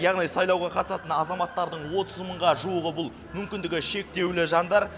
яғни сайлауға қатысатын азаматтардың отыз мыңға жуығы бұл мүмкіндігі шектеулі жандар